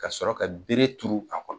Ka sɔrɔ ka bere turu a kɔnɔ.